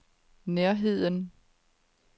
nærheden